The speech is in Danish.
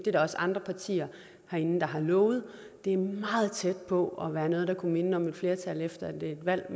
er der også andre partier herinde der har lovet det er meget tæt på at være noget der kunne minde om et flertal efter et valg